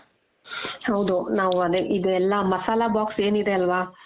ಹೌದು ನಾವು ಅದೇ ಇದು ಎಲ್ಲ ಮಸಾಲ box ಏನಿದೆ ಅಲ್ವಾ